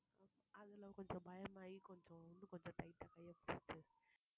அதுல கொஞ்சம் பயமாயி கொஞ்சம் இன்னும் கொஞ்சம் tight ஆ கைய புடிச்சுட்டேன்